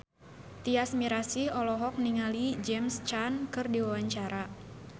Tyas Mirasih olohok ningali James Caan keur diwawancara